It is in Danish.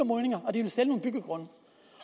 sælge nogle byggegrunde